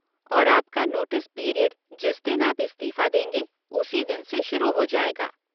और आपका notice period जिस दिन आप इस्तीफ़ा देंगे उसी दिन से शुरू हो जाएगा।